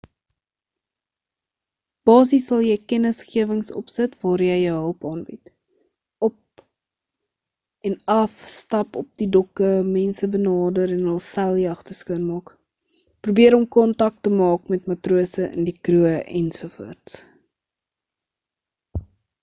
basies sal jy kennisgewings opsit waar jy jou hulp aanbied op en af stap op die dokke mense benader en hul seiljagte skoon maak probeer om kontak te maak met matrose in die kroeë ens